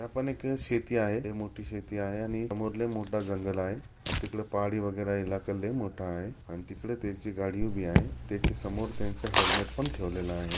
या पण एक शेती आहे ये मोठी शेती आहे आणि समोर लय मोठा जंगल आहे आणि तिकडं पहाडी वैगेरे आहे इलाका मोठा आहे अन तिकडे त्यांची गाडी उभी आहे त्याच्या समोर त्यांचा हैलमेट पण ठेवलेला आहे.